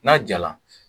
N'a jala